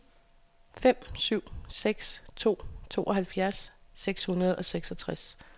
fem syv seks to tooghalvfjerds seks hundrede og seksogtres